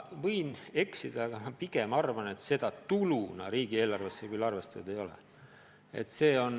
Ma võin eksida, aga ma pigem arvan, et seda tuluna riigieelarvesse küll arvestatud ei ole.